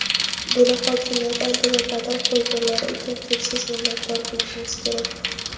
buni hokimiyat oldida dadil qo‘yganlari uchun cheksiz minnatdor bo‘lishimiz kerak.